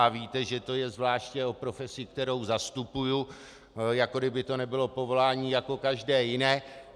A víte, že to je zvláště o profesi, kterou zastupuji, jako by to nebylo povolání jako každé jiné.